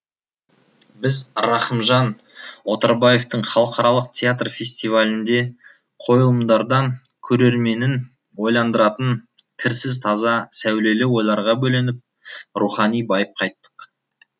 біз рахымжан отарбаевтың халықаралық театр фестивалінде қойылымдардан көрерменін ойландыратын кірсіз таза сәулелі ойларға бөленіп рухани байып қайттық